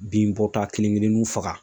Bin bɔ ta kelen keleninw faga.